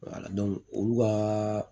olu ka